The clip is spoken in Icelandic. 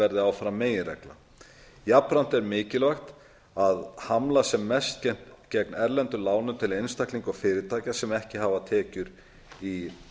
verði áfram meginreglan jafnframt er mikilvægt að hamla sem mest gegn erlendum lánum til einstaklinga og fyrirtækja sem ekki hafa tekjur í